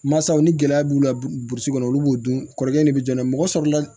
Masaw ni gɛlɛya b'u la burusi kɔnɔ olu b'o dun kɔrɔlen de bɛ jɔ n'a ye mɔgɔ sɔrɔla